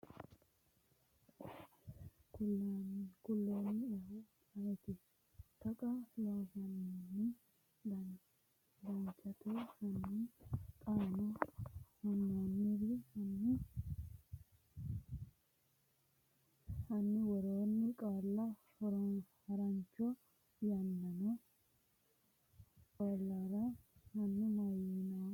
kulannoehu ayeeti? Taqa Loossinanni Danchate, hanni xaano hunannori Hanni woroonni qaalla harancho yaanno qaalirana? Hanni mayyaanno uminni Rosaano maxaafinsa giddo shiqqino borreessitinoonniro kulannoehu su’muwa aane garinni taashshidhanno kultannoeti ayeeti?